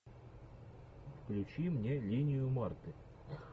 включи мне линию марты